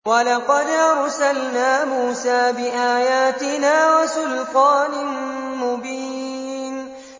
وَلَقَدْ أَرْسَلْنَا مُوسَىٰ بِآيَاتِنَا وَسُلْطَانٍ مُّبِينٍ